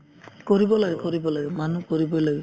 কৰিব লাগে কৰিব লাগে মানুহ কৰিবয়ে লাগে